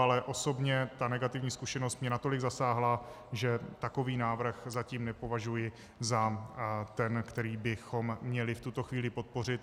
Ale osobně ta negativní zkušenost mě natolik zasáhla, že takový návrh zatím nepovažuji za ten, který bychom měli v tuto chvíli podpořit.